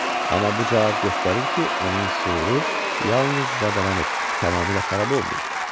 Amma bu cavab göstərir ki, onun şüuru yalnız zədələnib, tamamilə xarab olmayıb.